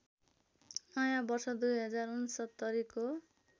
नयाँ वर्ष २०६९ को